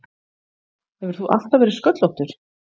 Hefur þú alltaf verið sköllóttur?